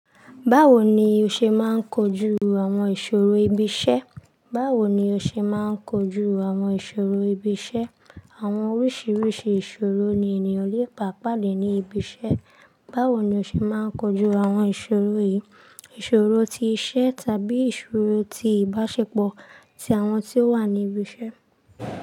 Báwo ni o ṣe máa ń kojú àwọn ìṣòro ibi iṣẹ́? Báwo ni o ṣe máa ń kojú àwọn ìṣòro ibi iṣẹ́? Àwọn oríṣiríṣi ìṣòro ni ènìyàn lè bàpà lè ní ibi iṣẹ́. Báwo ni o ṣe máa ń kojú àwọn ìṣòro yìí? Ìṣòro ti iṣẹ́ tàbí ìṣòro ti ìbáṣepọ̀ ti àwọn tí ó wà ní ibi iṣẹ́.